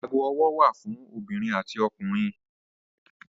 Ago ọwọ́ wà fún obìnrin àti ọkùnrin.